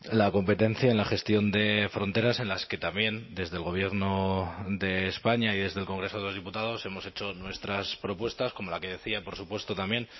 la competencia en la gestión de fronteras en las que también desde el gobierno de españa y desde el congreso de los diputados hemos hecho nuestras propuestas como la que decía por supuesto también